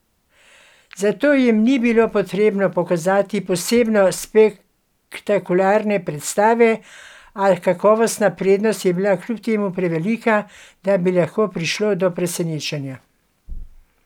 Za to jim ni bilo potrebno pokazati posebno spektakularne predstave, a kakovostna prednost je bila kljub temu prevelika, da bi lahko prišlo do presenečenja.